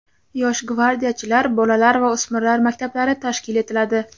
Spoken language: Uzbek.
"Yosh gvardiyachilar" bolalar va o‘smirlar maktablari tashkil etiladi.